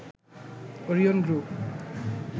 Orion group